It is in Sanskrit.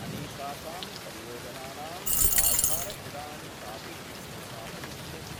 अनेकासां परियोजनानाम् आधारशिलां चापि स्थापयिष्यति।